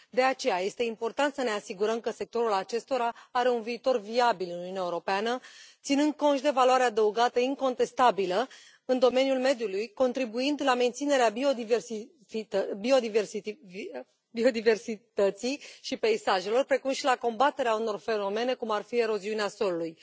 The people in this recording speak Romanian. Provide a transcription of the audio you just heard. De aceea, este important să ne asigurăm că sectorul acestora are un viitor viabil în Uniunea Europeană, ținând cont și de valoarea adăugată incontestabilă în domeniul mediului, contribuind la menținerea biodiversității și a peisajelor, precum și la combaterea unor fenomene cum ar fi eroziunea solului.